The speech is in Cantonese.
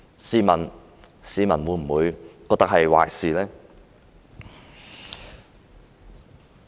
試問市民會否覺得這是壞事呢？